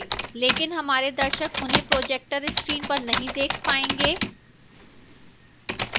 लेकिन हमारे दर्शक उन्हें projector screen पर नहीं देख पायेंगे